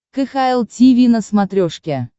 кхл тиви на смотрешке